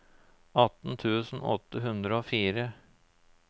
atten tusen åtte hundre og fire